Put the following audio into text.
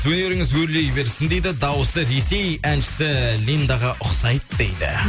өнеріңіз өрлей берсін дейді дауысы ресей әншісі линдаға ұқсайды дейді